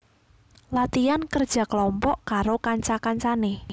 Latihan kerja kelompok karo kanca kancane